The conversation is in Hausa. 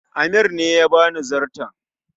Amir ne ya bani zarton